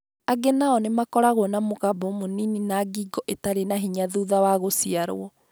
Angĩ nao nĩ makoragwo na mũgambo mũnini na ngingo ĩtarĩ na hinya thutha wa gũciarũo.